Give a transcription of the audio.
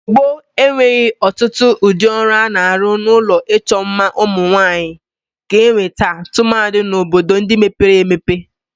Igbo gboo enweghi otutu udi oru ana-aru n'ulo icho mma umunwanyi ka enwe taa tumadi n"obodo ndi mebere emepe